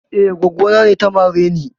Eh, goggo na ne ta mare ni.